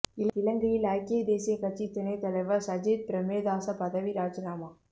இலங்கையில் ஐக்கிய தேசிய கட்சி துணை தலைவர் சஜித் பிரேமதாச பதவி ராஜினாமா